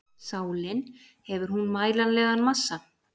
Sálin, hefur hún mælanlegan massa?